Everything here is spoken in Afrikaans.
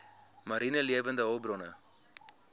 mariene lewende hulpbronne